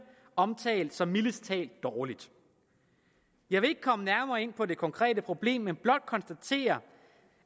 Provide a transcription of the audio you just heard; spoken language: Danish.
omtalt som mildest talt dårligt jeg vil ikke komme nærmere ind på det konkrete problem men blot konstatere